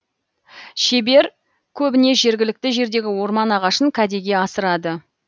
шебер көбіне жергілікті жердегі орман ағашын кәдеге асырады